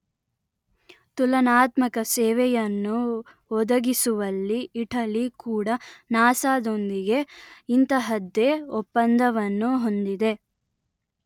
ತುಲನಾತ್ಮಕ ಸೇವೆಯನ್ನು ಒದಗಿಸುವಲ್ಲಿ ಇಟಲಿ ಕೂಡ ನಾಸ ದೊಂದಿಗೆ ಇಂತಹದ್ದೇ ಒಪ್ಪಂದವನ್ನು ಹೊಂದಿದೆ